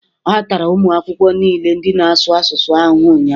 A tara ụmụ akwụkwọ niile ndị na-asụ asụsụ ahụhụ ụnyahụ